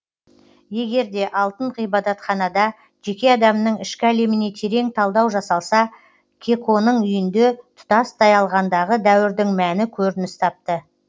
егер де алтын ғибадатханада жеке адамның ішкі әлеміне терең талдау жасалса кеконың үйінде тұтастай алғандағы дәуірдің мәні көрініс тапты